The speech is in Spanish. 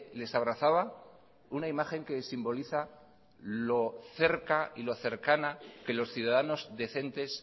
les abrazaba una imagen que simboliza lo cerca y lo cercana que los ciudadanos decentes